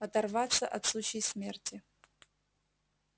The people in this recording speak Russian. оторваться от сучьей смерти